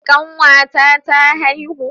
Kanwata ta haihu